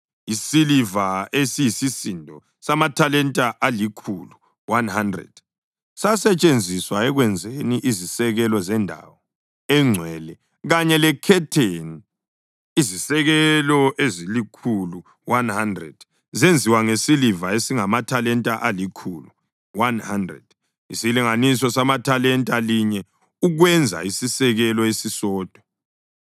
Isiliva esiyisisindo samathalenta alikhulu (100) sasetshenziswa ekwenzeni izisekelo zendawo engcwele kanye lekhetheni, izisekelo ezilikhulu (100) zenziwa ngesiliva esingamathalenta alikhulu (100), isilinganiso sethalenta linye ukwenza isisekelo esisodwa.